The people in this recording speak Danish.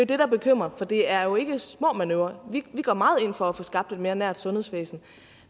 det der bekymrer for det er jo ikke små manøvrer vi går meget ind for at få skabt et mere nært sundhedsvæsen